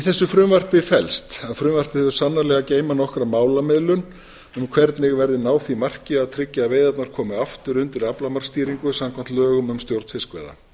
þessu frumvarpi felst að frumvarpið hefur sannarlega að geyma nokkra málamiðlun um hvernig verði náð því marki að tryggja að veiðarnar komi aftur undir aflamarksstýringu samkvæmt lögum um stjórn fiskveiða